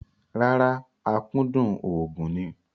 Rárá, akúndùn òògùn ni.